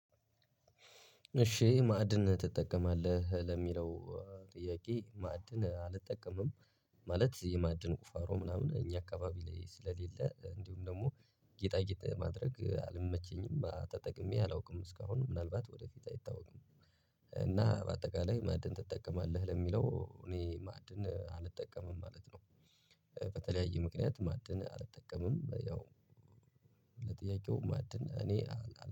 እሺ ማዕድን ትጠቀማለህ ለሚለው ጥያቄ ማዕድን አልጠቀምም ማለት የማዕድን ቁፋሮ ምናምን እኛ አካባቢ ላይ ስለሌለ እንዲሁም ደግሞ ጌጣጌጥ ማድረግ አልመቸኝም ተጠቅሜ አላውቅም እስካሁን ምናልባት ወደፊት አይታወቅም። እና በአጠቃላይ ማዕድን ትጠቀማለህ ለሚለው እኔ ማዕድን አልጠቀምም ማለት ነው። በተለያየ ምክንያት ማዕድን አልጠቀምም ያው። ለጥያቄው ማዕድን እኔ